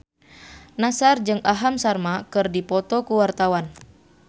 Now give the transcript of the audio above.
Nassar jeung Aham Sharma keur dipoto ku wartawan